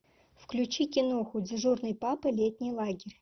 включи киноху дежурный папа летний лагерь